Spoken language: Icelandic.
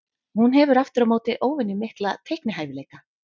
Hún hefur aftur á móti óvenju mikla teiknihæfileika.